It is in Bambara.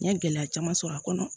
N ye gɛlɛya caman sɔrɔ a kɔnɔ